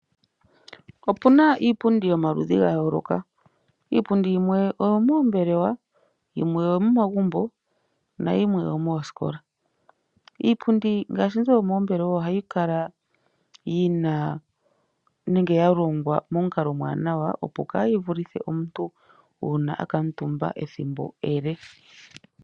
Opu na iipundi yomaludhi ga yooloka iipundi yimwe oyo moombelewa, yimwe oyo momagumbo nayimwe oyo moosikola. Iipundi ngaashi mbyoka yomoombelewa oha yi kala yi na nenge ya longwa momukalo omuwanawa opo kaa yi vulithe omuntu uuna a kutumba ethimbo ele.